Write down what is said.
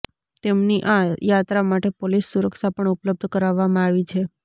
તેમની આ યાત્રા માટે પોલીસ સુરક્ષા પણ ઉપલબ્ધ કરાવવામાં આવી છે